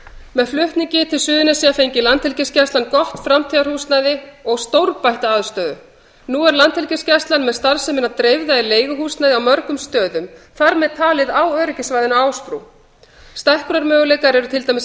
með flutningi til suðurnesja fengi landhelgisgæslan gott framtíðarhúsnæði og stórbætta aðstöðu nú er landhelgisgæslan með starfsemina dreifða í leiguhúsnæði á mörgum stöðum þar með talið á öryggissvæðinu á ásbrú stækkunarmöguleikar eru til dæmis